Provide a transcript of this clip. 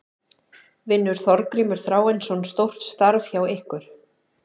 Vinnur Þorgrímur Þráinsson stórt starf hjá ykkur??